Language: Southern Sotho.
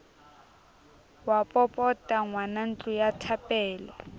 wa popota ngwanantlo ya thapelo